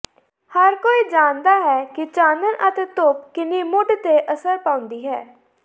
ਹਰ ਕੋਈ ਜਾਣਦਾ ਹੈ ਕਿ ਚਾਨਣ ਅਤੇ ਧੁੱਪ ਕਿੰਨੀ ਮੂਡ ਤੇ ਅਸਰ ਪਾਉਂਦੀ ਹੈ